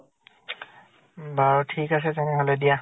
বাৰু ঠিক আছে তেনেহলে দিয়া।